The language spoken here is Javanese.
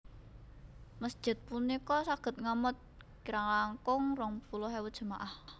Masjid punika saged ngamot kirang langkung rong puluh ewu jemaah